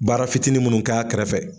Baara fitiinin minnu k'a kɛrɛfɛ.